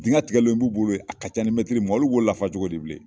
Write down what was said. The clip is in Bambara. Dinkɛ tigɛlen b'u bolo yen, a ka ca ni mɛtiri mugan, olu b'o lafa cogo di bilen?